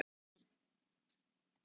Þriðja mannsins er leitað.